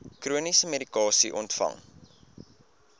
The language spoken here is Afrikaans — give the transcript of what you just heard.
chroniese medikasie ontvang